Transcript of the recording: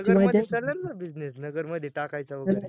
नगर मदे चालेल न business नगर मदे टाकायचा होता तर